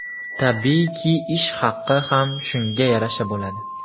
Tabiiyki, ish haqi ham shunga yarasha bo‘ladi.